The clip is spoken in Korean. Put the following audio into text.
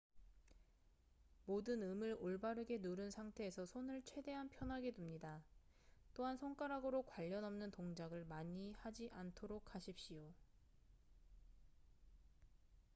모든 음을 올바르게 누른 상태에서 손을 최대한 편하게 둡니다 또한 손가락으로 관련 없는 동작을 많이 하지 않도록 하십시오